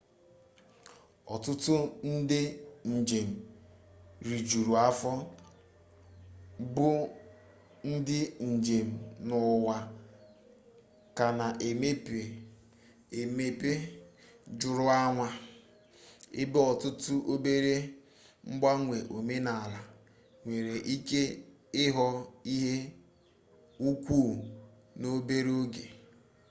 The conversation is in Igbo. ọtụtụ ndị njem rijuru afọ bụ ndị njem n'ụwa ka na emepe emepe juru anya ebe ọtụtụ obere mgbanwe omenala nwereike ịghọ ihe ukwu n'obere oge